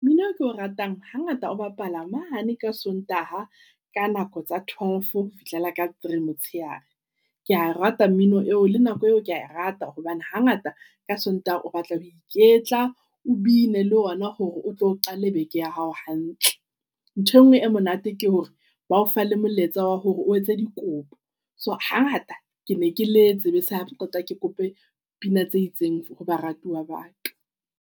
Mmino ke o ratang ha ngata o bapala mane ka Sontaha ka nako tsa twelve ho fihlela ka three. Motshehare Kea rata mmino eo le nako eo kea e rata hobane hangata ka Sontaha o batla ho iketla, o been le ona hore o tlo qala beke ya hao hantle. Nthwe ngwe e monate ke hore bao fa le molaetsa wa hore o etse dikopo. So hangata ke ne ke le tsebe sa qoqwa ke kope pina tse itseng hoba ratuwa baka